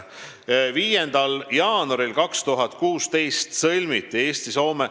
5. jaanuaril 2016 sõlmiti Eesti–Soome ...